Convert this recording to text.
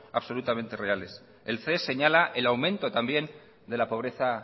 absolutamente reales el ces señala el aumento también de la pobreza